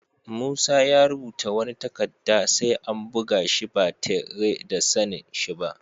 Musa ya rubuta wani takadda sai an buga shi ba tarre da sani'n shi ba.